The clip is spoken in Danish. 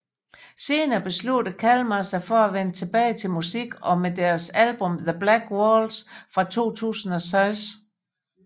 Senere besluttede Kalmah sig for at vende tilbage til musikken med deres album The Black Waltz fra 2006